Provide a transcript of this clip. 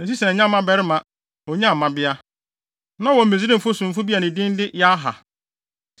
Na Sesan annya mmabarima, onyaa mmabea. Na ɔwɔ Misraimni somfo bi a ne din de Yarha.